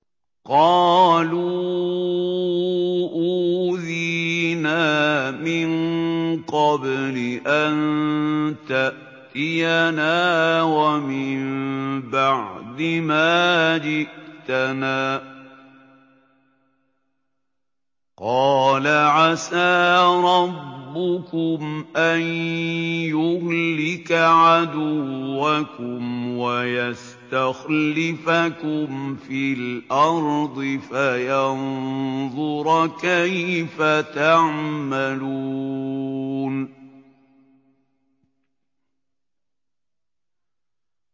قَالُوا أُوذِينَا مِن قَبْلِ أَن تَأْتِيَنَا وَمِن بَعْدِ مَا جِئْتَنَا ۚ قَالَ عَسَىٰ رَبُّكُمْ أَن يُهْلِكَ عَدُوَّكُمْ وَيَسْتَخْلِفَكُمْ فِي الْأَرْضِ فَيَنظُرَ كَيْفَ تَعْمَلُونَ